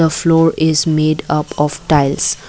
the floor is made up of tiles.